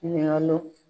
Ɲininkaliw